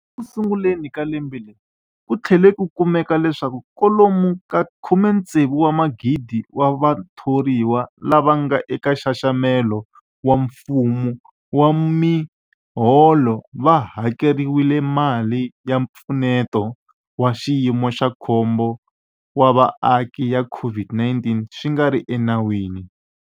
Ekusunguleni ka lembe leri, ku tlhele ku kumeka leswaku kwalomu ka 16,000 wa vatho riwa lava nga eka nxaxamelo wa mfumo wa miholo va hakeriwile mali ya Mpfuneto wa Xiyimo xa Khombo wa Vaaki ya COVID-19 swi nga ri enawini.